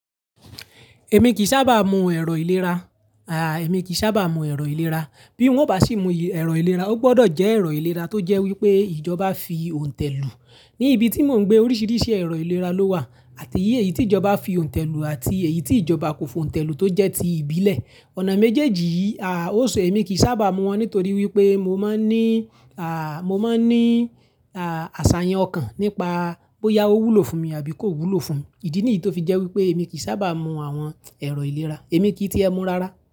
Èmi kì sábà mu ẹ̀rọ ìlera, à, èmi kì sábà mu ẹ̀rọ ìlera. Bí o bá sì mú ẹ̀rọ ìlera, ó gbọdọ̀ jẹ́ ẹ̀rọ ìlera tó jẹ́ wípé ìjọba fi òǹtẹ̀ lù. Ní ibi tí mò ń gbé oríṣiríṣi ẹ̀rọ ìlera ló wà àti èyí tí ìjọba fi òǹtẹ̀ lù àti èyí tí ìjọba kò fo òǹtẹ̀ lù tó jẹ́ ti ìbílẹ̀. Ọ̀nà méjèèjì, à, ó ṣe èmi kì sábà mu wọ́n nítorí wípé mo máa ń ní, à, mo máa ń ní, à, àsàyàn ọkàn nípa bóyá ó wúlò fún mi àbí kò wúlò fún mi. Ìdí nìyí tó fi jẹ́ wípé èmi kì sábà mu àwọn ẹ̀rọ ìlera, èmi kí tí ẹ mu rara.